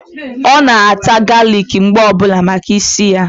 Ọ na-ata galic mgbe ọbụla maka ísì ya.